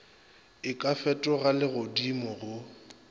e ka fetoga legodimo go